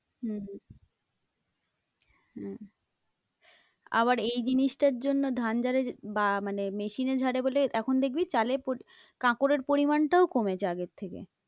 হম হম আবার এই জিনিসটার জন্য ধান ঝাড়া বা মানে machine এ ঝাড়ে বলে এখন দেখবি চালে কাঁকড়ের পরিমানটাও কমেছে আগের থেকে।